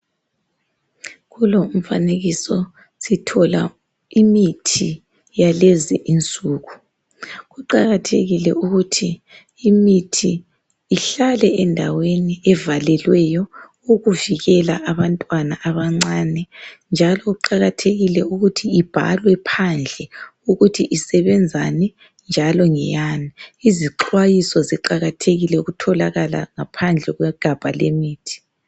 Kulo umfanekiso sithola imithi yalezi insuku. Kuqakathekile ukuthi imithi ihlale endaweni evalelweyo, ukuvikela abantwana abancane, njalo kuqakathekile ukuthi ibhalwe phandle ukuthi isebenzani njalo ngeyani. Izixwayiso ziqakathekile ukutholakala ngaphandle kwegabha lemithi.